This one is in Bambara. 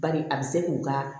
Bari a bɛ se k'u ka